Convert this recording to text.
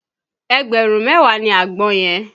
Ẹgbẹ̀rún mẹ́wàá ni àgbọn yẹn